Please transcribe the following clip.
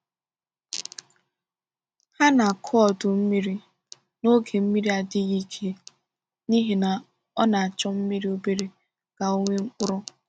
Ha na-akụ ọdụ mmiri n’oge mmiri adịghị ike n’ihi na ọ na-achọ mmiri obere ka ọ nwee mkpụrụ.